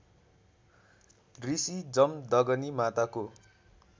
ऋषी जमदग्नी माताको